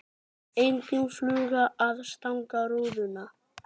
Engin fluga að stanga rúðuna.